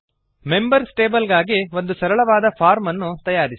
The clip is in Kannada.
ಮೆಂಬರ್ಸ್ ಟೇಬಲ್ ಗಾಗಿ ಒಂದು ಸರಳವಾದ ಫಾರ್ಮ್ ಅನ್ನು ತಯಾರಿಸಿ